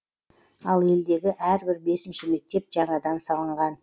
ал елдегі әрбір бесінші мектеп жаңадан салынған